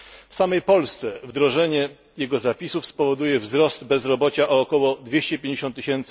W samej Polsce wdrożenie jego zapisów spowoduje wzrost bezrobocia o około 250 tys.